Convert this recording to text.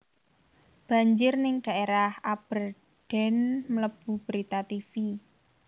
Banjir ning daerah Aberdeen mlebu berita tivi